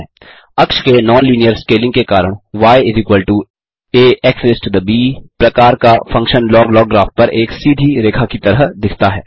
अक्ष के non linear scaling के कारण य एएक्स ब प्रकार का फंक्शन लॉग लॉग ग्राफ पर एक सीधी रेखा की तरह दिखता है